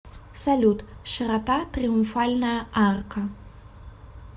салют широта триумфальная арка